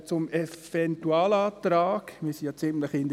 Zum Eventualantrag: Wir sind ja mit der Zeit ziemlich in Verzug.